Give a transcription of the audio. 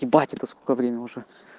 ебать это сколько время уже